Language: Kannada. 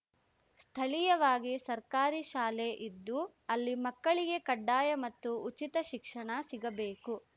ಸ್ಥಳೀಯವಾಗಿ ಸರ್ಕಾರಿ ಶಾಲೆ ಇದ್ದು ಅಲ್ಲಿ ಮಕ್ಕಳಿಗೆ ಕಡ್ಡಾಯ ಮತ್ತು ಉಚಿತ ಶಿಕ್ಷಣ ಸಿಗಬೇಕು